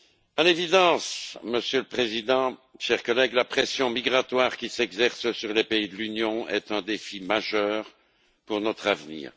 À l'évidence, Monsieur le Président, chers collègues, la pression migratoire qui s'exerce sur les pays de l'Union est un défi majeur pour notre avenir.